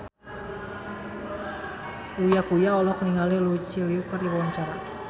Uya Kuya olohok ningali Lucy Liu keur diwawancara